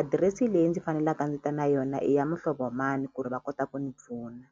adirese leyi ndzi fanelaka ndzi ta na yona i ya muhlovo mani ku ri va kota ku ni pfuna.